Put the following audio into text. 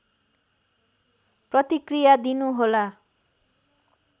प्रतिक्रिया दिनुहोला